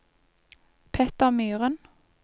Petter Myhren